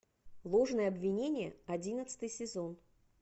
ложное обвинение одиннадцатый сезон